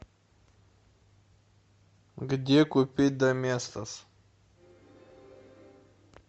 где купить доместос